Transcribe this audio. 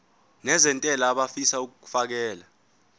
nezentela abafisa uukfakela